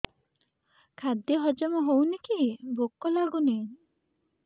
ଖାଦ୍ୟ ହଜମ ହଉନି କି ଭୋକ ଲାଗୁନି